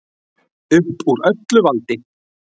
Upp úr öllu valdi